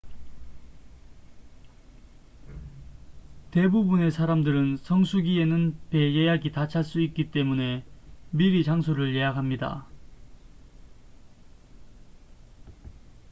대부분의 사람들은 성수기에는 배 예약이 다 찰 수 있기 때문에 미리 장소를 예약합니다